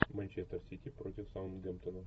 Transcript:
манчестер сити против саутгемптона